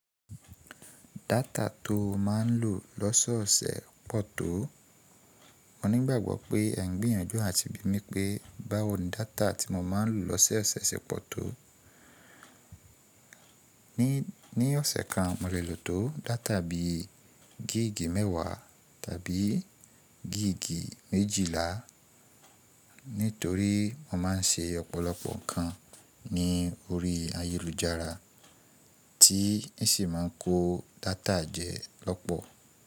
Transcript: Data tó má ń lò lọ́ṣọ ọ̀sẹ̀ pọ̀ tó. Mo nígbàgbọ́ pé ẹ ń gbìyànjú àti bi mí pé báwo ni data tí mo má ń lò lọ́ṣẹ ọ̀sẹ̀ ṣe pọ̀ tó. Ní, ní ọ̀sẹ̀ kan mo lè lò tó data bí gig mẹ́wa tàbí gig méjìlá nítorí mo má ń ṣe ọ̀pọ̀lọpọ̀ ǹkan ní orí ayélujára tí n sì má ń kó data jẹ lọ́pọ̀.